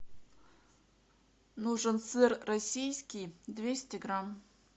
нужен сыр российский двести грамм